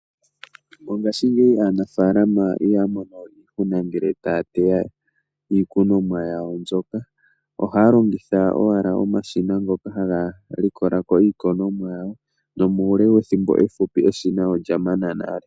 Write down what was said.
Mongashingeyi aanafalama yamama oku kuna ngele taya teya iikunonwa yawo mbyoka ohaya longitha owala omashina ngoka haga likolako iikunonwa yawo, nomuule wethimbo efupi eshina olya mana nale.